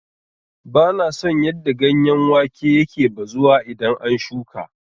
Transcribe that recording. Bana son yadda ganyen wake yake bazuwa idan an shuƙa.